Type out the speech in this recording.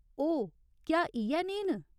ओह्, क्या इ'यै नेहे न ?